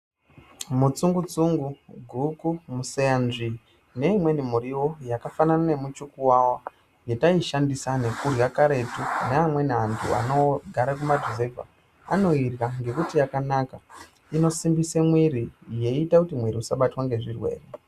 Mutsungu-tsungu, guku, museyanzvii neimweni muriwo yakafanana nemuchukuwawa yetaishandisa nekurya karetu neamweni antu anogara kumaruzevha anoirya ngekuti yakanaka. Inosimbise mwiri yeiita kuti mwiri usabatwa ngezvirwere.